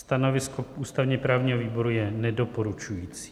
Stanovisko ústavně-právního výboru je nedoporučující.